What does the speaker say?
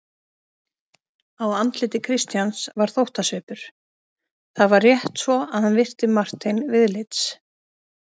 Á andliti Christians var þóttasvipur: það var rétt svo hann virti Martein viðlits.